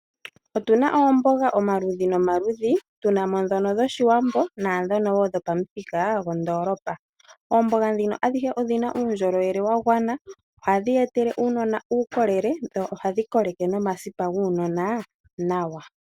Otuna oomboga omaludhi nomaludhi, tuna mo ndhono dhoshiwambo naandhono wo dhopamuthika gondoolopa. Oomboga ndhino adhihe odhi na uundjolowele wa gwana, ohadhi ye etele uunona uukolele, dho ohadhi koleke nomasipa guunona nawa.